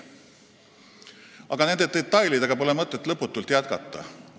Aga nende detailidega pole mõtet lõputult jätkata.